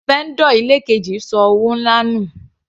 Vendor ilé keji ṣọ owó nlá nù.